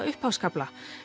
upphafskafla